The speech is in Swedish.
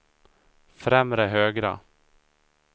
främre högra